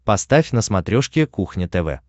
поставь на смотрешке кухня тв